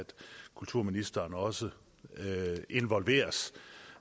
at kulturministeren også involveres